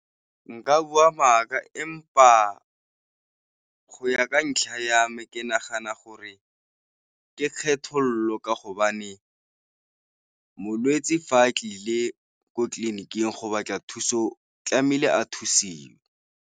Nka bua mmaka empa go ya ka ntlha ya me ke nagana gore ke kgethololo ka hobane molwetse fa tlile ko tleliniking go batla thuso tlamehile a thusiwe.